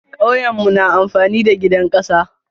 Kauyemu na amfani da gidan kasa.